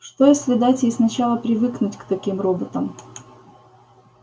что если дать ей сначала привыкнуть к таким роботам